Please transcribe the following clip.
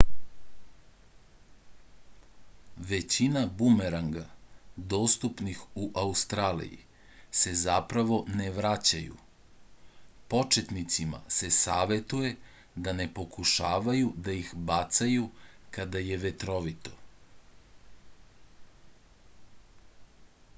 većina bumeranga dostupnih u australiji se zapravo ne vraćaju početnicima se savetuje da ne pokušavaju da ih bacaju kada je vetrovito